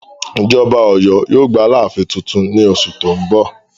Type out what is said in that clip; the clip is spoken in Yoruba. Ìjọba Ọ̀yọ́ yóò gba alááfín tuntun ní oṣù tó ń bọ̀